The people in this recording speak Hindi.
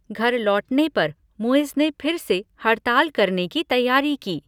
घर लौटने पर, मुइज़ ने फिर से हड़ताल करने की तैयारी की।